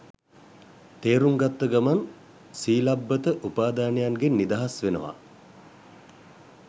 තේරුම් ගත්ත ගමන් සීලබ්බත උපාදානයන්ගෙන් නිදහස් වෙනවා